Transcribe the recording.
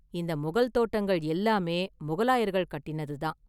இந்த முகல் தோட்டங்கள் எல்லாமே முகலாயர்கள் கட்டினது தான்.